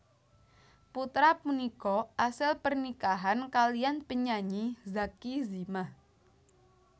Putra punika asil pernikahan kaliyan penyanyi Zacky Zimah